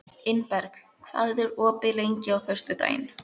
Ingberg, hvað er opið lengi á föstudaginn?